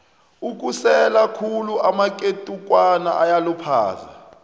ukusela khulu amaketukwana kuyaluphaza